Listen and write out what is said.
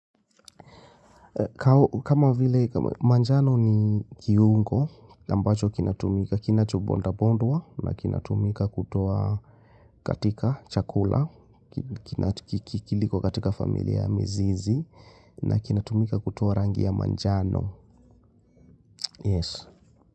Kama vile manjano ni kiungo, ambacho kinatumika, kinatumika kinacho bondwabondwa na kitumika kotoa katika chakula, kiliko katika familia ya mizizi, na kinatumika kutoa rangi ya manjano.